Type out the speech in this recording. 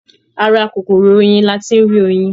Ara kòkòrò oyin ni a ti ń rí oyin.